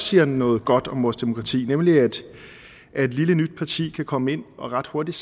siger noget godt om vores demokrati nemlig at et lille nyt parti kan komme ind og ret hurtigt